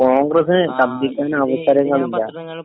അപ്പൊ കോൺഗ്രസിന് ശബ്‌ദിക്കാൻ അവസരങ്ങളില്ല.